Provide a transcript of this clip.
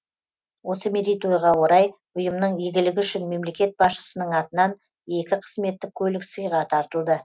осы мерейтойға орай ұйымның игілігі үшін мемлекет басшысының атынан екі қызметтік көлік сыйға тартылды